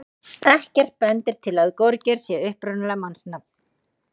Ekkert bendir til að gorgeir sé upprunalega mannsnafn.